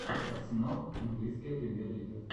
арсенал английская премьер лига